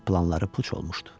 Planları puç olmuşdu.